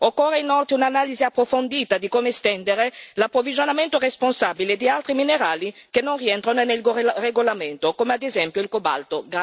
Occorre inoltre un'analisi approfondita di come estendere l'approvvigionamento responsabile di altri minerali che non rientrano nel regolamento, come ad esempio il cobalto.